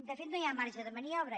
de fet no hi ha marge de maniobra